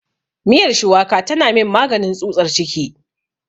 Miyar shuwaka tana min maganin tsutsar ciki.